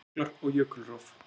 Jöklar og jökulrof